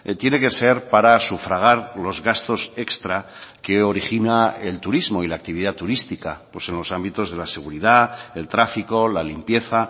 tiene que ser para sufragar los gastos extra que origina el turismo y la actividad turística pues en los ámbitos de la seguridad del tráfico la limpieza